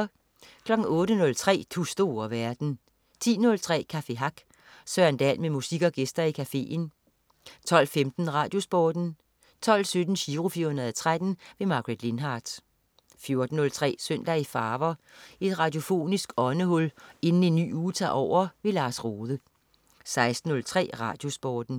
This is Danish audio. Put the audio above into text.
08.03 Du store verden 10.03 Café Hack. Søren Dahl med musik og gæster i cafeen 12.15 RadioSporten 12.17 Giro 413. Margaret Lindhardt 14.03 Søndag i farver. Et radiofonisk åndehul inden en ny uge tager over. Lars Rohde 16.03 RadioSporten